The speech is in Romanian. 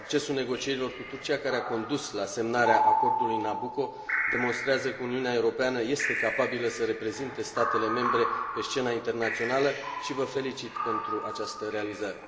Succesul negocierilor cu Turcia, care a condus la semnarea acordului Nabucco, demonstrează că Uniunea Europeană este capabilă să reprezinte statele membre pe scena internațională și vă felicit pentru această realizare.